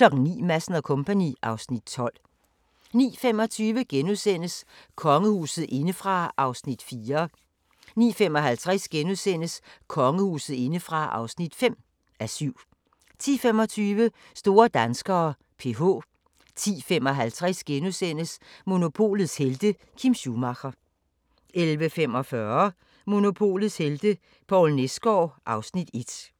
09:00: Madsen & Co. (Afs. 12) 09:25: Kongehuset indefra (4:7)* 09:55: Kongehuset indefra (5:7)* 10:25: Store danskere: PH 10:55: Monopolets helte - Kim Schumacher * 11:45: Monopolets helte - Poul Nesgaard (Afs. 1)